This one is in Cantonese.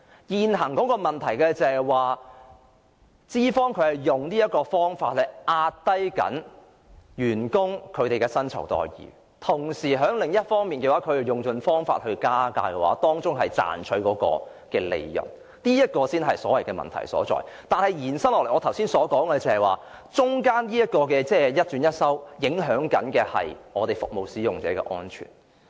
現時的問題是，資方正在利用這種方法壓低員工的薪酬待遇，同時在另一方面卻用盡方法加價賺取利潤，這才是問題所在；但是，再延伸下去，正如我剛才討論時所說，當中的一轉一收，所影響的是服務使用者的安全。